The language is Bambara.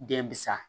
Den bi sa